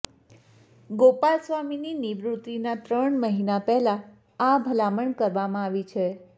ગોપાલસ્વામીની નિવાૃત્તિના ત્રણ મહિના પહેલા આ ભલામણ કરવામાં આવી છે